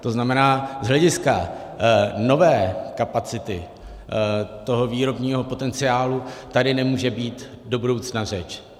To znamená, z hlediska nové kapacity toho výrobního potenciálu tady nemůže být do budoucna řeč.